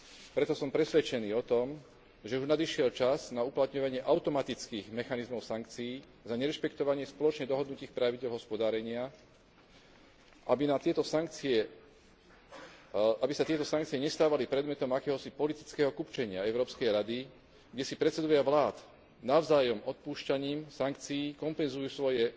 Preto som presvedčený o tom, že už nadišiel čas na uplatňovanie automatických mechanizmov sankcií za nerešpektovanie spoločne dohodnutých pravidiel hospodárenia, aby sa tieto sankcie nestávali predmetom akéhosi politického kupčenia Európskej rady, kde si predsedovia vlád navzájom odpúšťaním sankcií kompenzujú svoje